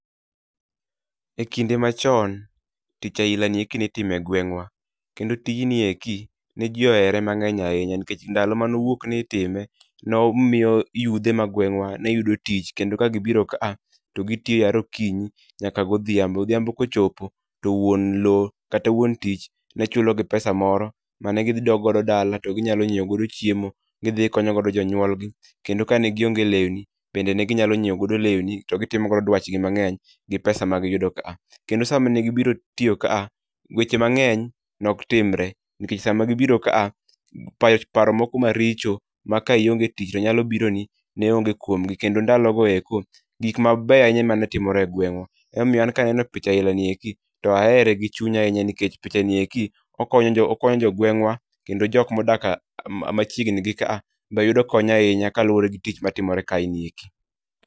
E kinde machon, tich aila ni eki nitime e gweng'wa. Kendo tijni eki ne ji ohere mang'eny ahinya nikech ndalo manowuok ni itime nomiyo yudhe ma gwengawa ne yudo tich kendo kagibiro ka a to gitiyo yare okinyi nyaka godhiambo. Odhiambo kochopo to wuon low, kata wuon tich nechulogi pesa moro mane gidhi dok godo dala to ginyalo nyiew go chiemo. Gidhi konyogodo jonyuolgi. Kendo kane gionge lewni, bende negi nyalo nyiew godo lewni to gitimo godo dwach gi mang'eny gi pesa ma giyudo ka a. Kendo sama ne gibiro tiyo ka a, weche mang'eny nok timre nikech sama gibiro ka a, paro moko maricho mak ionge tich to nyalo biro ni ne onge kuom gi kendo ndalo go eko, gik mabeyo ahinya emane timore e gweng'wa. Emomiyo an kaneno picha aina ni eki to ahere gi chunya ahinya nikech picha ni eki okonyo jo gweng'wa kendo jok modak machiegni gi ka a be yudo kony ahinya ka luwore gi tich matimore ka e ni eki.